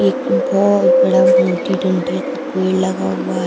एक बोोोत बड़ा मोटी डंठल का पेड़ लगा हुआ है।